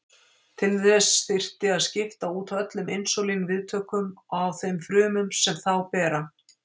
Til þess þyrfti að skipta út öllum insúlín-viðtökum á þeim frumum sem þá bera.